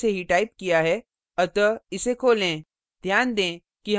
मैंने editor में program पहले से ही टाइप किया है अतः इसे खोलें